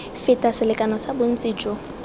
feta selekano sa bontsi jo